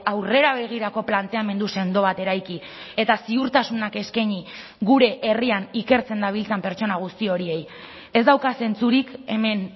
aurrera begirako planteamendu sendo bat eraiki eta ziurtasunak eskaini gure herrian ikertzen dabiltzan pertsona guzti horiei ez dauka zentzurik hemen